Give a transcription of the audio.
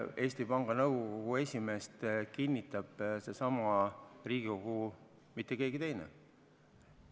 Eesti Panga Nõukogu esimehe kinnitab seesama Riigikogu, mitte keegi teine.